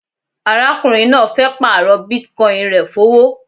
Arákùnrin náà fẹ́ pààrọ̀ Bitcoin rẹ̀ fówó